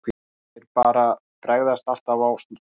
Þeir bara bregðast alltaf á stórmótum.